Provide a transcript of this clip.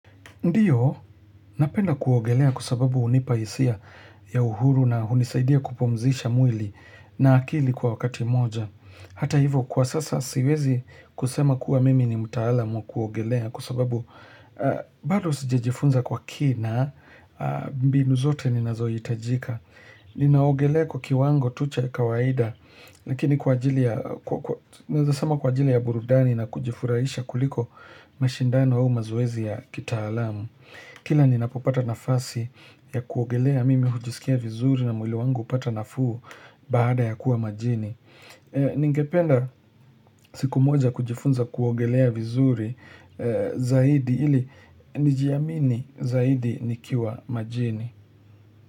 Ndiyo, napenda kuogelea kusababu unipaisia ya uhuru na unisaidia kupomzisha mwili na akili kwa wakati moja. Hata hivo, kwa sasa siwezi kusema kuwa mimi ni mutalamu kuogelea kusababu bado sijejifunza kwa kina, bimbi nuzote ni nazoyitajika. Ni naogelea kwa kiwango tucha kawaida Lakini kwa ajili ya burudani na kujifuraisha kuliko mashindano au mazuwezi ya kita alamu Kila ni napopata nafasi ya kuogelea mimi hujisikia vizuri na mwili wangu upata nafuu baada ya kuwa majini Ningependa siku moja kujifunza kuogelea vizuri zaidi ili nijiamini zaidi nikiwa majini.